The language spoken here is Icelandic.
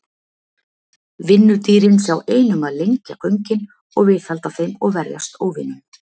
Vinnudýrin sjá ein um að lengja göngin og viðhalda þeim og verjast óvinum.